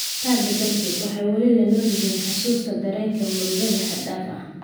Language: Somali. Taa beddelkeeda, waxay weli la nool yihiin xusuusta dareenka murugada xad dhaafka ah.